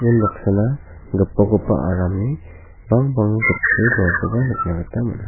unbaksana gipokgipa aramni bangbang gitchoe dongakoba nikna gita man·a.